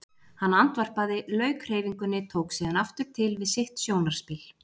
Hann andvarpaði, lauk hreyfingunni, tók síðan aftur til við sitt sjónarspil.